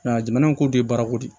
jamana in ko de ye baarako de ye